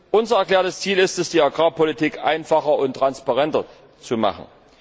Unser erklärtes Ziel ist es, die Agrarpolitik einfacher und transparenter zu machen.